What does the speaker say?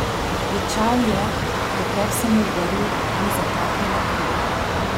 Ječal je, dokler se mu v grlu ni zataknila kri.